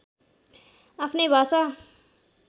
आफ्नै भाषा